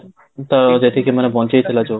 ତ ଯେତିକି ମାନେ ବଞ୍ଚେଇଥିଲା ଯୋଉ